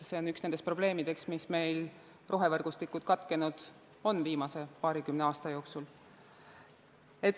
See on üks nendest probleemidest, miks meil on rohevõrgustikud viimase paarikümne aasta jooksul katkenud.